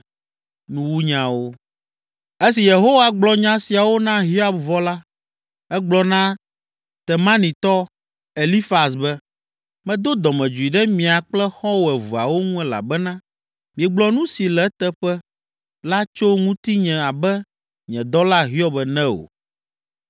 Esi Yehowa gblɔ nya siawo na Hiob vɔ la, egblɔ na Temanitɔ, Elifaz be, “Medo dɔmedzoe ɖe mia kple xɔ̃wò eveawo ŋu elabena miegblɔ nu si le eteƒe la tso ŋutinye abe nye dɔla Hiob ene o